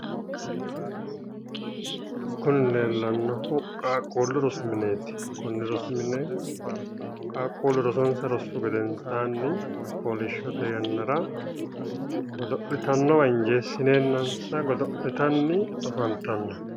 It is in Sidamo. Kuni leellannohu qaaqquullu rosi mineeti konni rosi mine qaaqquullu rosonsa rossu gedensaanni fooliishshote yannara godo'litannowa injeessineennansa godo'litanni afantanno